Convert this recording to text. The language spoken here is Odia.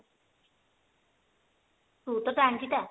ମୁଁ ତ ଟାଙ୍ଗୀ ଟା